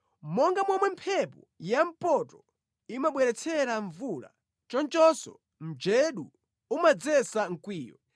Monga momwe mphepo yampoto imabweretsera mvula, chonchonso mjedu umadzetsa mkwiyo.